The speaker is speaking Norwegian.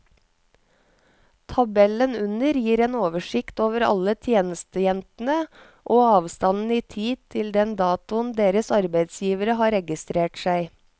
Tabellen under gir en oversikt over alle tjenestejentene og avstanden i tid til den datoen deres arbeidsgivere har registrert seg.